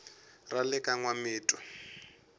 ra le ka n wamitwa